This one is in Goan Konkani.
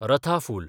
रथा फूल